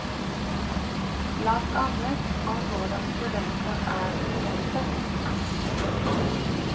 Blant annet om hvordan studenter er studenter.